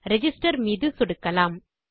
register மீது சொடுக்கலாம்